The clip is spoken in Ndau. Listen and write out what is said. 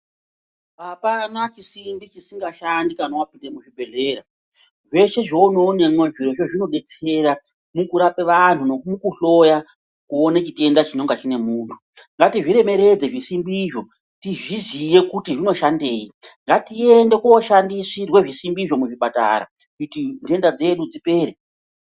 Apana chisimbi chisinga shandi kana wapinda muzvibhedhlera zveshe zvounoonemwo zvirozvo zvinodetsera mukurapa vantu nemukuhloya kuona chitenge chingenge chine muntu ngatizviremeredze zvisimbizvo tizviziye kuti zvino shandei ngatiende kushandisirwe zvisimbizvo muzvipatara kuti nhenda dzedu dzipere